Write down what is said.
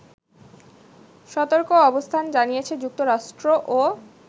সতর্ক অবস্থান জানিয়েছে যুক্তরাষ্ট্রও